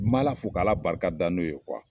N m'ala fo k'ala barikada n'o ye kuwa